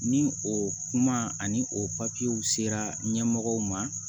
Ni o kuma ani o papiyew sera ɲɛmɔgɔw ma